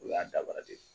O y'a daba de ye